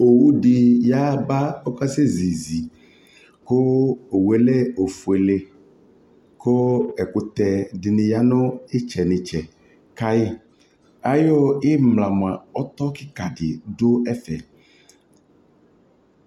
ɔwʋ di yaba ɔkasɛ zizi kʋ ɔwʋɛ lɛ ɔƒʋɛlɛ kʋɛkʋtɛ dini yanʋ itsɛ nʋ itsɛ kʋ aya, ayɔ imla mʋa ɔtɔ kikaa di dʋ ɛvɛ